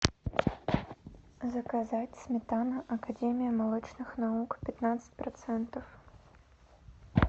заказать сметана академия молочных наук пятнадцать процентов